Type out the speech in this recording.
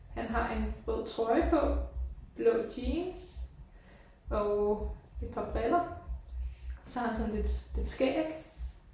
Han har en rød trøje på blå jeans og et par briller. Så har han sådan lidt lidt skæg